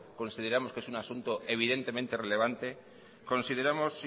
consideramos que es un asunto evidentemente relevante consideramos